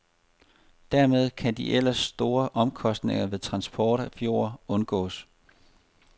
Dermed kan de ellers store omkostninger ved transport af jord undgås.